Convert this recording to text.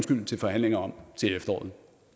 til forhandlinger om til efteråret